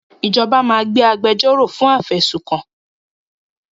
Ìjọba máa gba agbẹjọ́ro fún afẹ̀sùnkàn